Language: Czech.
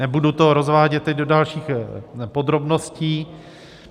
Nebudu to rozvádět teď do dalších podrobností.